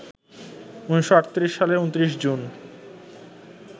১৯৩৮ সালের ২৯ জুন